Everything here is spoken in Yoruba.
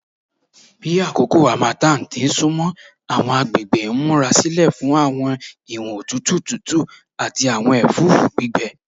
Bi akoko harmattan ti sunmọ, awọn agbegbe n murasilẹ fun awọn iwọn otutu tutu ati awọn ẹfũfu gbigbẹ